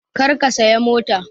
Kar ka saya mota!